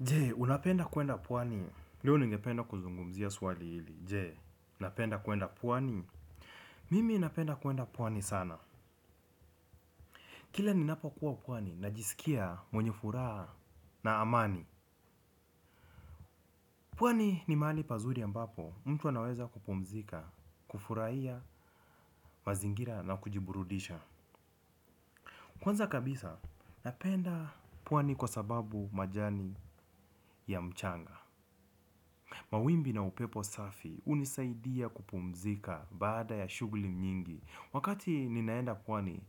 Je, unapenda kuenda pwani? Leo ningependa kuzungumzia swali hili. Je, unapenda kuenda pwani? Mimi unapenda kuwenda puwani sana. Kila ninapo kuwa pwani, najisikia mwenye furaha na amani. Pwani ni mahali pazuri ambapo, mtu anaweza kupumzika, kufurahia, mazingira na kujiburudisha. Kwanza kabisa, unapenda puwani kwa sababu majani ya mchanga. Mawimbi na upepo safi hunisaidia kupumzika baada ya shughuli nyingi. Wakati ninaenda pwani,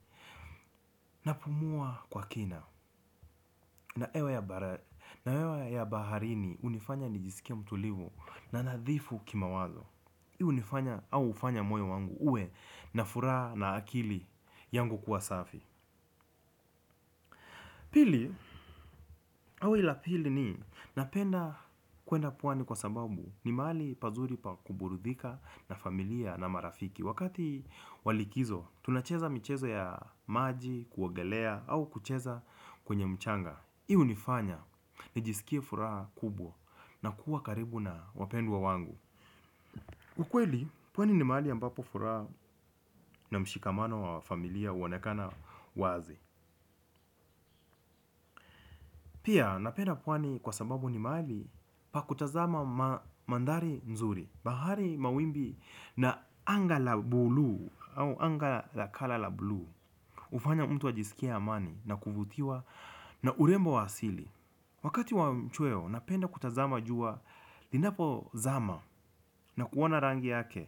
napumua kwa kina. Na hewa ya baharini hunifanya nijisikie mtulivu na nadhifu kimawazo hii hunifanya au hufanya moyo wangu uwe na furaha na akili yangu kuwa safi. Pili, au hili la pili ni napenda kuenda pwani kwa sababu ni mahali pazuri pa kuburudika na familia na marafiki. Wakati wa likizo, tunacheza mchezo ya maji, kuogelea au kucheza kwenye mchanga hii hunifanya, nijisikie furaha kubwa na kuwa karibu na wapendwa wangu. Ukweli, pwani ni mahali ambapo furaha na mshikamano wa familia huonekana wazi. Pia, napenda pwani kwa sababu ni mahali pa kutazama mandhari mzuri. Bahari mawimbi na anga la blue au anga la color la blue hufanya mtu ajisikie amani na kuvutiwa na urembo wa asili. Wakati wa mchweo napenda kutazama jua. Linapo zama na kuona rangi yake.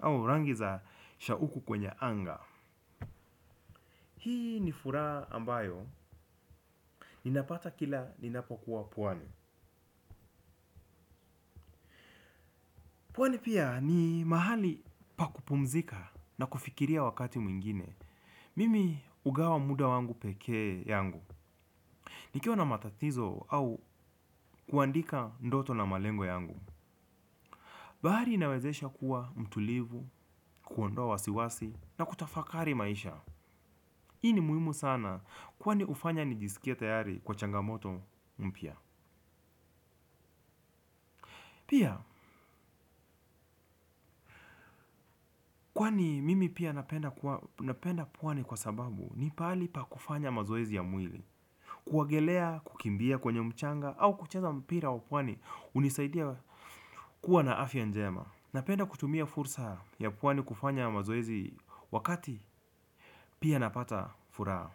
Au rangi za shauku kwenye anga. Hii ni furaha ambayo ninapata kila linapo kuwa pwani. Pwani pia ni mahali pa kupumzika. Na kufikiria wakati mwingine. Mimi hugawa muda wangu pekee yangu. Nikiwa na matatizo au kuandika ndoto na malengo yangu. Bahari inawezesha kuwa mtulivu, kuondoa wasiwasi na kutafakari maisha. Hii ni muhimu sana kwani hufanya nijisikie tayari kwa changamoto mpya. Pia kwani mimi pia napenda pwani kwa sababu ni pahali pa kufanya mazoezi ya mwili. Kuogelea, kukimbia kwenye mchanga au kucheza mpira wa pwani hunisaidia kuwa na afya njema. Napenda kutumia fursa ya pwani kufanya mazoezi wakati pia napata furaha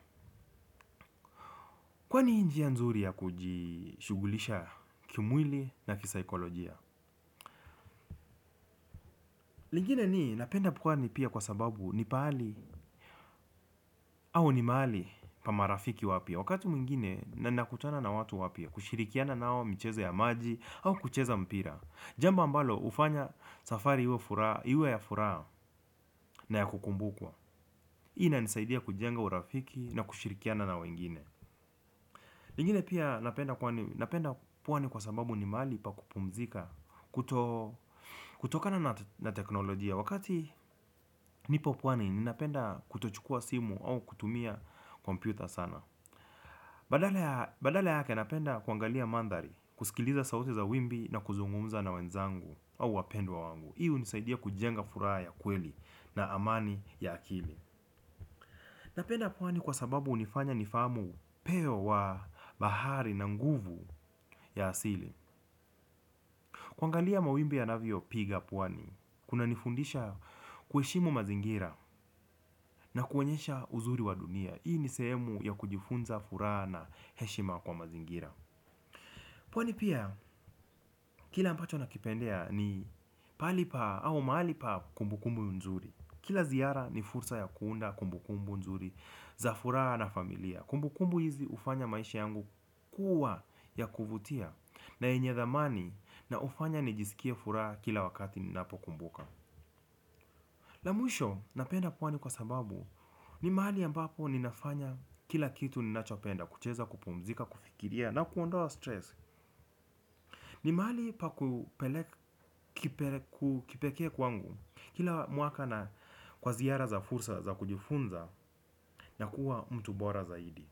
kwani ni njia nzuri ya kujishughulisha kimwili na kisaikolojia. Lingine ni napenda pwani pia kwa sababu ni pahali au ni mahali pa marafiki wapya. Wakati mwingine na nakutana na watu wapya kushirikiana nao michezo ya maji au kucheza mpira. Jambo ambalo hufanya safari iwe ya furaha na ya kukumbukwa hii. Inanisaidia kujenga urafiki na kushirikiana na wengine. Lingine pia napenda pwani kwa sababu ni mahali pa kupumzika. Kutokana na teknolojia wakati nipo pwani ninapenda kutochukua simu au kutumia kompyuta sana. Badala yake napenda kuangalia mandhari. Kusikiliza sauti za wimbi na kuzungumza na wenzangu au wapendwa wangu. Hii hunisaidia kujenga furaha ya kweli na amani ya akili. Napenda pwani kwa sababu hunifanya nifahamu upeo wa bahari na nguvu ya asili kuangalia mawimbi yanavyopiga pwani kunanifundisha kuheshimu mazingira na kuonyesha uzuri wa dunia. Hii ni sehemu ya kujifunza furaha na heshima kwa mazingira. Pwani pia kila ambacho nakipendea ni pahali pa au mahali pa kumbukumbu nzuri. Kila ziara ni fursa ya kuunda kumbu kumbu nzuri za furaha na familia. Kumbu kumbu hizi hufanya maisha yangu kuwa ya kuvutia na yenye dhamani na hufanya nijisikie furaha kila wakati ninapokumbuka. La mwisho napenda pwani kwa sababu ni mahali ambapo ninafanya kila kitu ninachopenda kucheza kupumzika, kufikiria na kuondoa stress. Ni mahali pa kipekee kwangu kila mwaka na kwa ziara na fursa za kujifunza na kuwa mtu bora zaidi.